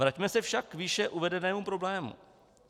Vraťme se však k výše uvedenému problému.